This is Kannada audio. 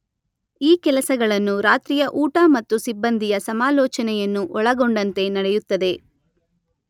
ಈ ಕೆಲಸಗಳನ್ನು ರಾತ್ರಿಯ ಊಟ ಮತ್ತು ಸಿಬ್ಬಂದಿಯ ಸಮಾಲೋಚನೆಯನ್ನು ಒಳಗೊಂಡಂತೆ ನಡೆಯುತ್ತದೆ